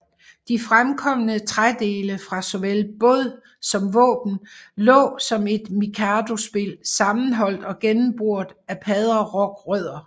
De fremkomne trædele fra såvel båd som våben lå som et mikadospil sammenholdt og gennemboret af padderokrødder